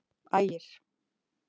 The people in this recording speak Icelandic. Ægir